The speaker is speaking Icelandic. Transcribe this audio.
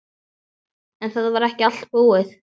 En það var ekki allt búið.